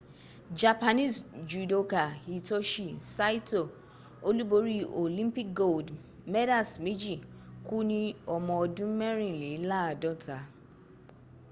japanese judoka hitoshi saito olúborí olympic gold medals méjì kú ni ọmọ ọdún mẹrìnléláàdọ́ta